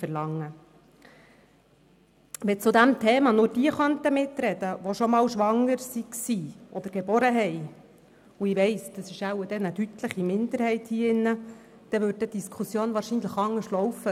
Wenn zu diesem Thema nur diejenigen mitreden könnten, die schon einmal schwanger waren oder ein Kind zur Welt gebracht haben – ich weiss, das ist sicher eine deutliche Minderheit hier im Saal –, würde die Diskussion wahrscheinlich anders verlaufen.